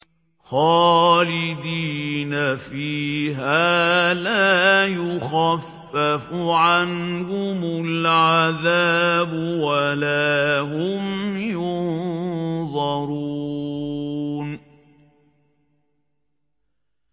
خَالِدِينَ فِيهَا لَا يُخَفَّفُ عَنْهُمُ الْعَذَابُ وَلَا هُمْ يُنظَرُونَ